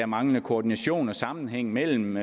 manglende koordination og sammenhæng mellem